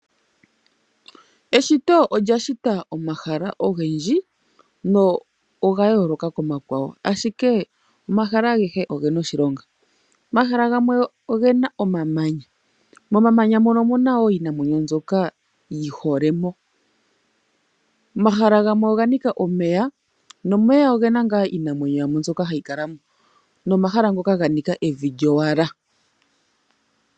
Eshito olya shita omahala ogendji na oga yooloka komakwawo ashike omahala agehe ogena oshilonga . Omahala gamwe ogena omamanya. Momamanya omuna woo iinima yimwe mbyoka yi holemo. Omahala gamwe oganika omeya nomeya ogena woo iinamwenyo mbyoka hayi kalamo nomahala ngoka ga nika evi lyowala.